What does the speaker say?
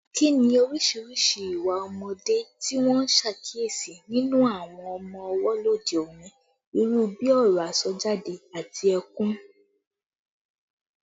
Kí ni oríṣiríṣi ìwà ọmọdé tí wọ́n ń ṣàkíyèsí nínú àwọn ọmọ ọwọ́ lóde òní, irú bí ọ̀rọ̀ àsọjáde àti ẹkún?